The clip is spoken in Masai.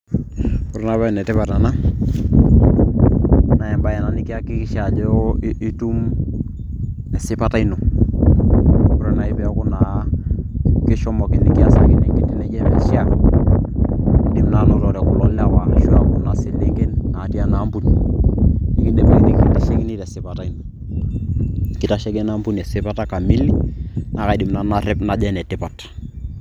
Ore naa paa enetipat ena naa embaye ena nikiakikisha ajo itum esipata ino ore naaji peeku kishomoki nikiasakini enkiti naijio emeishia indim naa anotore kulo lewa ashua kuna selenken naatii ena ampuni nekindim ake nikintashekini tesipata ino keitasheki ena ampuni esipata kamili naakaidim nanu narep najo enetipat.